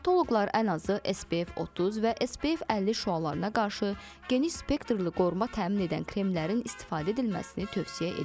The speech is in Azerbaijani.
Dermatoloqlar ən azı SPF 30 və SPF 50 şüalarına qarşı geniş spektrli qoruma təmin edən kremlərin istifadə edilməsini tövsiyə edir.